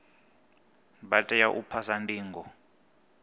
vha tea u phasa ndingo